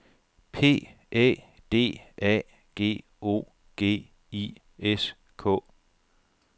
P Æ D A G O G I S K